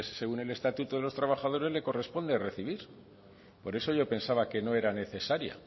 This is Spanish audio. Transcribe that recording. según el estatuto de los trabajadores le corresponde recibir por eso yo pensaba que no era necesaria